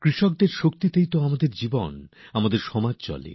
কৃষকদের শক্তিতেই আমাদের জীবন আমাদের সমাজ গতিশীল থাকে